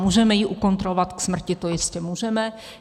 Můžeme ji ukontrolovat k smrti, to jistě můžeme.